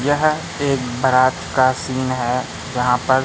यह एक बारात का सीन है जहां पर--